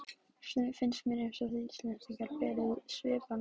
Stundum finnst mér einsog þið Íslendingar berið svip af náttúrunni.